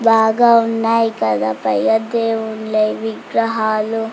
బాగా ఉన్నాయి కదా దేవుళ్ళ విగ్రహాలు.